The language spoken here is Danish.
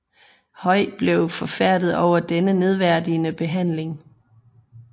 Haüy blev forfærdet over denne nedværdigende behandling